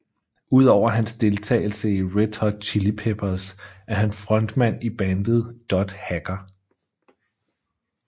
Udover hans deltagelse i Red Hot Chili Peppers er han frontmand i bandet Dot Hacker